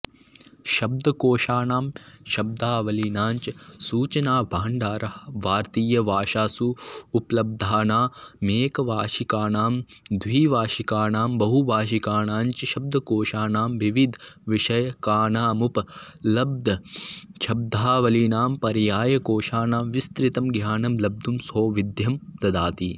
शब्दकोषाणां शब्दावलीनाञ्च सूचनाभाण्डारः भारतीयभाषासु उपलब्धानामेकभाषिकाणां द्विभाषिकाणां बहुभाषिकाणाञ्च शब्दकोषाणां विविधविषयकानामुपलब्धशब्दावलीनां पर्यायकोषाणां विस्तृतं ज्ञानं लब्धुं सौविध्यं ददाति